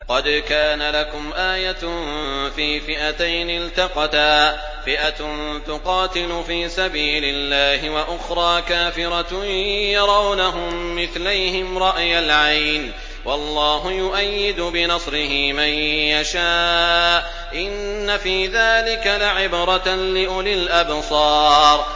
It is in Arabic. قَدْ كَانَ لَكُمْ آيَةٌ فِي فِئَتَيْنِ الْتَقَتَا ۖ فِئَةٌ تُقَاتِلُ فِي سَبِيلِ اللَّهِ وَأُخْرَىٰ كَافِرَةٌ يَرَوْنَهُم مِّثْلَيْهِمْ رَأْيَ الْعَيْنِ ۚ وَاللَّهُ يُؤَيِّدُ بِنَصْرِهِ مَن يَشَاءُ ۗ إِنَّ فِي ذَٰلِكَ لَعِبْرَةً لِّأُولِي الْأَبْصَارِ